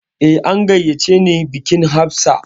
Eh, an gayyace ni bikin Hafsat